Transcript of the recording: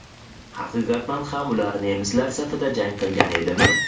Haqiqatan ham ular nemislar safida jang qilgan edimi?